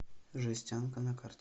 жестянка на карте